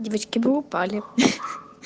девочки вы упали ха-ха